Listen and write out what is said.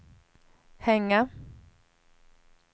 hänga